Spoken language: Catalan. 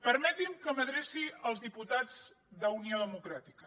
permeti’m que m’adreci als diputats d’unió democràtica